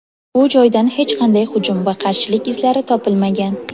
Bu joydan hech qanday hujum va qarshilik izlari topilmagan.